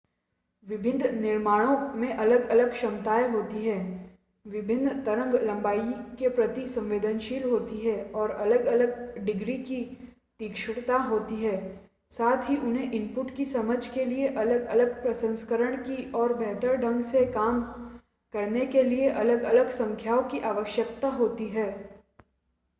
विभिन्न निर्माणों में अलग-अलग क्षमताएं होती हैं विभिन्न तरंग-लंबाई के प्रति संवेदनशील होते हैं और अलग-अलग डिग्री की तीक्ष्णता होती है साथ ही उन्हें इनपुट की समझ के लिए अलग-अलग प्रसंस्करण की और बेहतर ढंग से काम करने के लिए अलग-अलग संख्याओं की आवश्यकता होती है